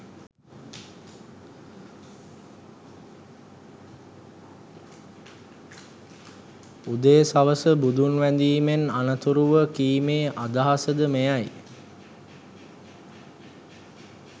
උදේ සවස බුදුන් වැඳීමෙන් අනතුරුව කීමේ අදහස ද මෙයයි